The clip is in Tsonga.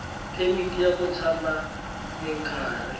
phemiti ya ku tshama minkarhi